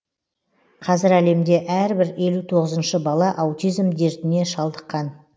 қазір әлемде әрбір елу тоғызыншы бала аутизм дертіне шалдыққан